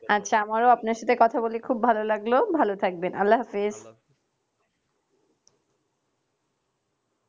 আচ্ছা আমারও আপনার সাথে কথা বলে খুব ভালো লাগলো। ভালো থাকবেন আল্লাহ হাফিজ।